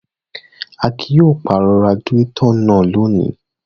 Akin yóò pàrọ̀ radiátọ̀ náà lónìí!